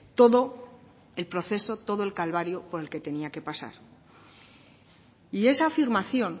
todo el proceso todo el calvario por el que tenía que pasar y esa afirmación